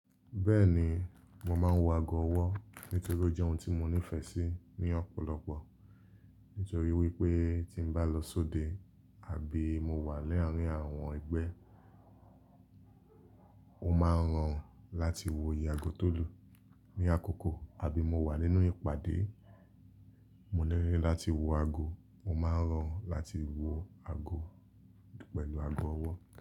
Bẹ́ẹ̀ni, mo máa ń wọ ago ọwọ́ nítorí ó jẹ́ ohun tí mo nífẹ̀ẹ́ sí ní ọ̀pọ̀lọpọ̀. Nítorí wípé tí n bá lọ sóde àbí mo wà láàrin àwọn ẹgbẹ́, ó máa ń ràn láti wọ ìyè ago tó dùn. Ni àkókò àbí mo wà nínú ìpàdé, mo nílò láti wọ ago, mo máa ran láti wo ago pẹ̀lú ago ọwọ́.